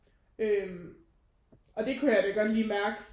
Øh og det kunne jeg da godt lige mærke